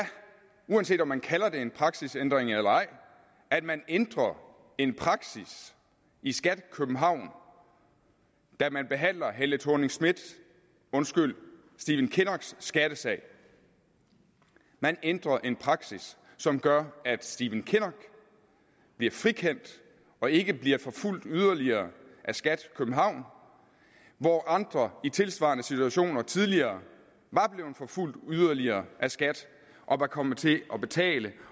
uanset om man kalder det en praksisændring eller ej at man ændrer en praksis i skat københavn da man behandler helle thorning schmidts undskyld stephen kinnocks skattesag man ændrer en praksis som gør at stephen kinnock bliver frikendt og ikke bliver forfulgt yderligere af skat københavn hvor andre i tilsvarende situationer tidligere var blevet forfulgt yderligere af skat og var kommet til at betale